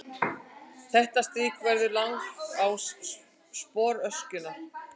Þetta strik verður langás sporöskjunnar.